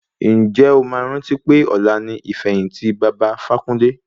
Ǹjẹ́ o máa rántí pé ọ̀la ni ìfẹ̀yìntì baba Ifákúnle?